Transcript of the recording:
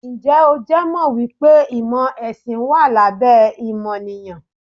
Ǹjẹ́ o jẹ́ mọ̀ wípé ìmò ẹ̀sìn wà lábẹ́ ìmọ̀nìyàn?